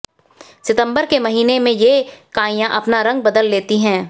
सितंबर के महीने में ये काइयां अपना रंग बदल लेती है